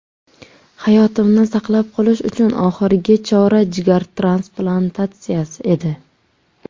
Hayotimni saqlab qolish uchun oxirgi chora jigar transplantatsiyasi edi.